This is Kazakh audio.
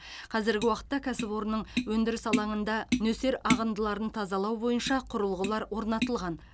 қазіргі уақытта кәсіпорынның өндіріс алаңында нөсер ағындыларын тазалау бойынша құрылғылар орнатылған